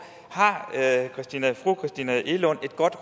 har fru christina egelund et godt